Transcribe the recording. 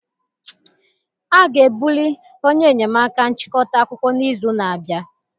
A ga-ebuli onye enyemaka nchịkọta akụkọ n'izu na-abịa